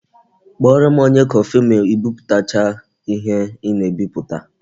Kpọrọ m onye kọfị ma I biputacha ihe ị na-ebiputa